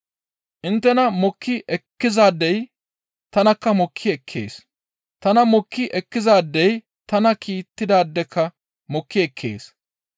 «Inttena mokki ekkizaadey tanakka mokki ekkees. Tana mokki ekkizaadey tana kiittidaadekka mokki ekkees.